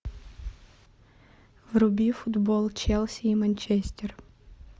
вруби футбол челси и манчестер